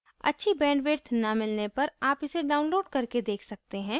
अच्छी bandwidth न मिलने पर आप इसे download करके देख सकते हैं